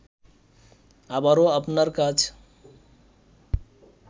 আবারও আপনার কাছ